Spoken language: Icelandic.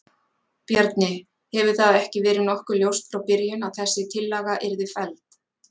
Bjarni, hefur það ekki verið nokkuð ljóst frá byrjun að þessi tillaga yrði felld?